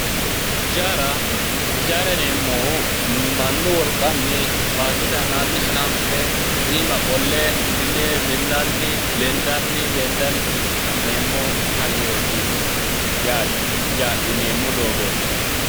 Ijaara, ijaara yineemmohu mannu wolqanni baattote aana hananfe iima qolle mine mi'nanni lendanni lendanni ha'neemmo hayyooti yaate yine adhineemmo doogooti.